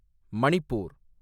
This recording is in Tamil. மணிப்பூர்